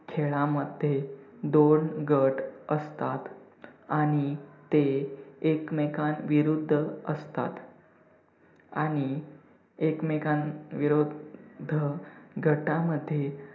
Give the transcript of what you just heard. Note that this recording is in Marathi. खेळामध्ये दोन गट असतात आणि ते एकमेकांविरुद्ध असतात आणि एकमेकांविरुद्ध गटामध्ये